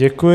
Děkuji.